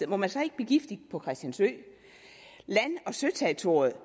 må man så ikke blive gift på christiansø land og søterritoriet